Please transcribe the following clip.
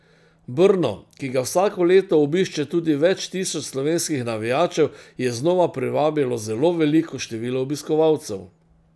Brno, ki ga vsako leto obišče tudi več tisoč slovenskih navijačev, je znova privabilo zelo veliko število obiskovalcev.